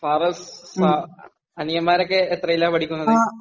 ഫാറസ്, അനിയന്മാരൊക്കെ എത്രയിലാ പഠിക്കുന്നത്?